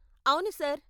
అవును సార్.